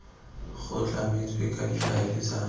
go tlametswe ka difaele tsa